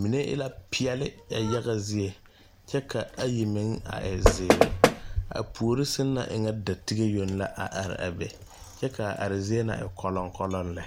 mine e la peɛɛli a yaga zie ayi meŋ e la zēēre a puori sɛŋ nyɛ e la dɔtige kyɛ kaa are zie na e kolɔkolɔ lɛ.